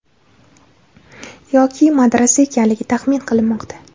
yoki madrasa ekanligi taxmin qilinmoqda.